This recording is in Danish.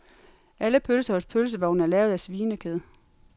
Alle pølser hos pølsevognen er lavet af svinekød.